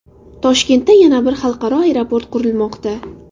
Toshkentda yana bir xalqaro aeroport qurilmoqda .